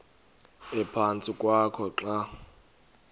ephantsi kwakho xa